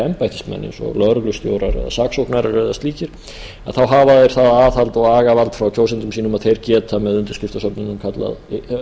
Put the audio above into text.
embættismenn eins og lögreglustjórar eða saksóknarar eða slíkir að þá hafa þeir það aðhald og agavald frá kjósendum sínum að þeir geta með undirskriftasöfnunum víða